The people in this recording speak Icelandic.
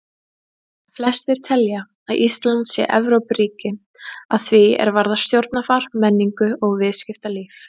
Flestir telja að Ísland sé Evrópuríki að því er varðar stjórnarfar, menningu og viðskiptalíf.